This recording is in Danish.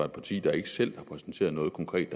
et parti der ikke selv har præsenteret noget konkret